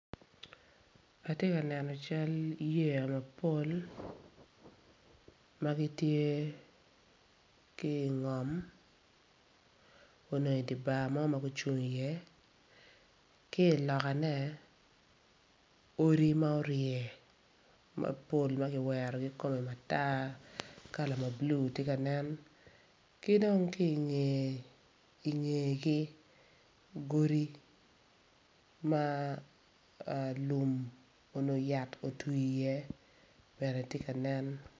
Atye ka neno cal yeya mapol ma gitye ki ingom onongo idi bar mo ma gucung iye ki ilokane odi ma orye mapol ma kiwero ki kome matar kala ma blue tye ka nen ki dong ki ingegi gudi ma lum onongo yat owtii iye bene tye ka nen.